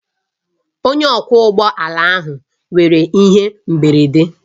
Onye ọkwọ ụgbọ ala ahụ nwere ihe mberede